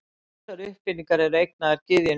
ýmsar uppfinningar eru eignaðar gyðjunni aþenu